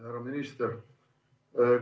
Härra minister!